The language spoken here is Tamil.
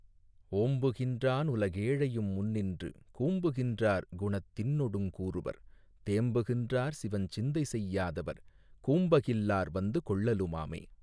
ஓம்புகின்றான் உலகேழையு முண்ணின்று கூம்புகின்றார் குணத்தின்னொடுங் கூறுவர் தேம்புகின்றார் சிவஞ்சிந்தை செய்யாதவர் கூம்பகில்லார் வந்து கொள்ளலுமாமே.